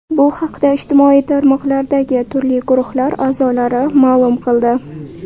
Bu haqda ijtimoiy tarmoqlardagi turli guruhlar a’zolari ma’lum qildi.